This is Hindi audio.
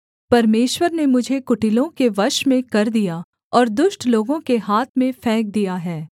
परमेश्वर ने मुझे कुटिलों के वश में कर दिया और दुष्ट लोगों के हाथ में फेंक दिया है